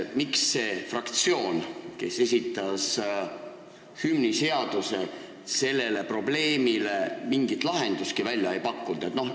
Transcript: Miks see fraktsioon, kes esitas hümniseaduse, sellele probleemile mingit lahendust välja ei pakkunud?